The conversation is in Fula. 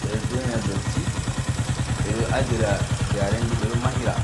ɓeɗo donya dotti, ɓeɗo adira jarendi, ɓeɗo mahira.